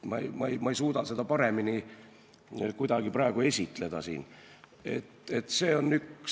Ma ei suuda kuidagi siin praegu paremini seda edasi anda.